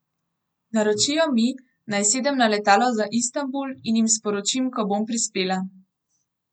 Naročijo mi, naj sedem na letalo za Istanbul in jim sporočim, ko bom prispela.